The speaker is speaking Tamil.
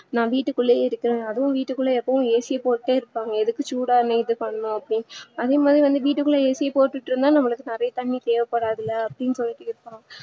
நா வீட்டு குள்ளே இருக்க அதுவும் AC போட்டே இருப்பாங்க எதுக்கு சூடாவே இது பண்ணனும் அதே மாதிரி வந்து வீட்டுக்குள்ளே AC போட்டுட்டு இருந்தா நமக்கு அதிக தண்ணீ தேவ படாதுல்ல அப்டின்னு சொல்லிட்டு இருப்பாங்க